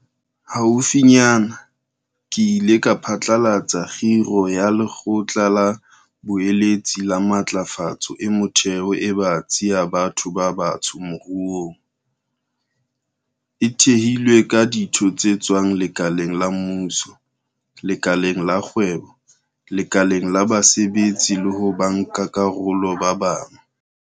Haufinyane, ke ile ka phatlalatsa kgiro ya Lekgotla la Boeletsi la Matlafatso e Metheo e Batsi ya Batho ba Batsho Moruong, e thehilweng ka ditho tse tswang lekaleng la mmuso, lekaleng la kgwebo, lekaleng la basebetsi le ho bankakarolo ba bang.